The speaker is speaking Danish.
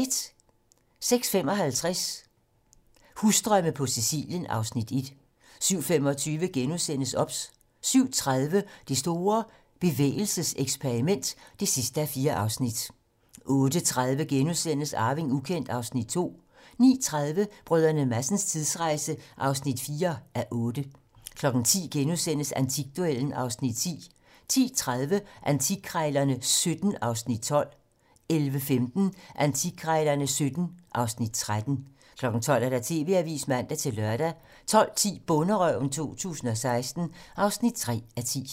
06:55: Husdrømme på Sicilien (Afs. 1) 07:25: OBS * 07:30: Det store bevægelseseksperiment (4:4) 08:30: Arving ukendt (Afs. 2)* 09:30: Brdr. Madsens tidsrejse (4:8) 10:00: Antikduellen (Afs. 10)* 10:30: Antikkrejlerne XVII (Afs. 12) 11:15: Antikkrejlerne XVII (Afs. 13) 12:00: TV-Avisen (man-lør) 12:10: Bonderøven 2016 (3:10)